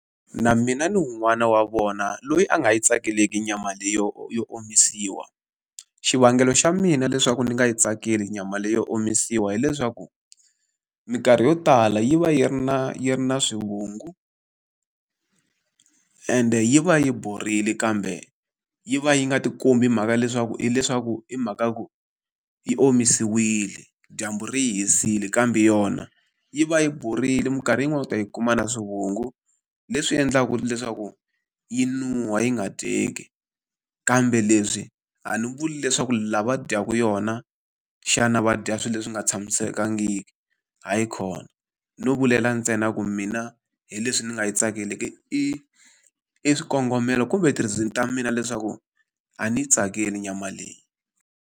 Na mina ni wun'wana wa vona loyi a nga yi tsakeleki nyama leyi yo yo omisiwa. Xivangelo xa mina leswaku ndzi nga yi tsakeli nyama leyi yo omisiwa hileswaku, minkarhi yo tala yi va yi ri na yi ri na swivungu ende yi va yi borile kambe yi va yi nga ti kombi mhaka leswaku hileswaku hi mhaka ku yi omisiwile, dyambu ri yi hisile kambe yona yi va yi borile. Minkarhi yin'wani u ta yi kuma na swivungu, leswi endlaka leswaku yi nuhwa yi nga dyeki. Kambe leswi a ndzi vuli leswaku lava dyaka yona, xana va dya swilo leswi nga tshamisekangiki, hayikhona. No vulela ntsena ku mina hi leswi ni nga yi tsakeleki, i i swikongomelo kumbe ti-reason ta mina leswaku a ni yi tsakeli nyama leyi.